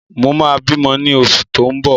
Mo ma bímọ ní oṣù tó ń bọ̀